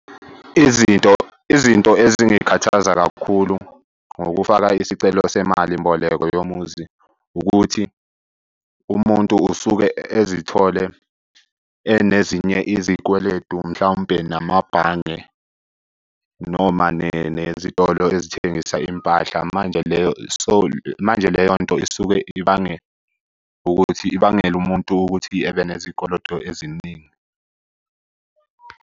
Izinto izinto ezingikhathaza kakhulu ngokufaka isicelo semali mboleko yomuzi ukuthi umuntu usuke ezithole enezinye izikweletu, mhlawumpe namabhange noma nezitolo ezithengisa impahla. Manje leyo, so, manje leyo nto isuke ibange ukuthi ibangele umuntu ukuthi ebe nezikoloto eziningi.